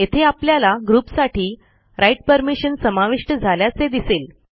येथे आपल्याला ग्रुपसाठी राइट परमिशन समाविष्ट झाल्याचे दिसेल